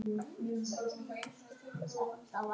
Amma var svo góð.